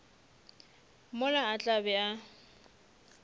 mola a tla be a